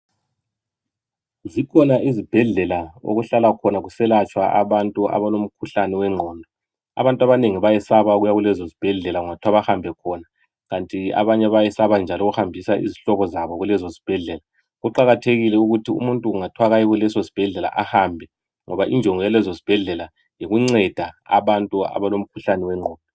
Zikhona izibhedlela okuhlala khona kuselatshwa abantu abalomkhuhlane wengqondo. Abantu abanengi bayesaba ukuya kulezo ezibhedlela kungathuwa behambe khona ikanti abanye bayesaba njalo ukuhambisa izihlobo zabo kulezo zibhedlela. Kuqakathekile ukuthi umuntu kungathwa aye esibhedlela ahambe ngoba injongo yalezo zibhedlela yikunceda abantu abalomkhuhlane wengqondo